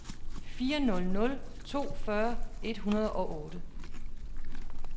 fire nul nul to fyrre et hundrede og otte